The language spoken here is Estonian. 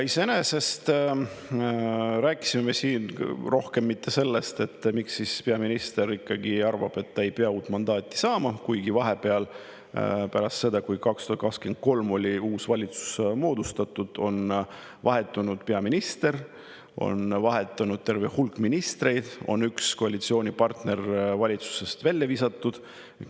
Iseenesest rääkisime siin sellest, miks peaminister arvab, et ta ei pea uut mandaati saama, kuigi vahepeal, pärast seda, kui 2023 uus valitsus moodustati, on vahetunud peaminister, on vahetunud terve hulk ministreid ja on üks koalitsioonipartner valitsusest välja visatud.